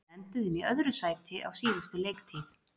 Við enduðum í öðru sæti á síðustu leiktíð.